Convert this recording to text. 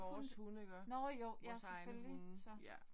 Ja vores hunde iggå vores egne hunde ja